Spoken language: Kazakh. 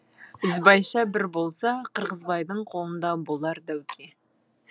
ізбайша бір болса қырғызбайдың қолында болар дәуке